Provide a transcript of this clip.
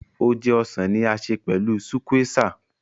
Óje ọ́sàn ni a ṣe pẹlu sùkwéesà.